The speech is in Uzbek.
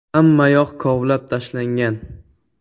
- Hammayoq kovlab tashlangan.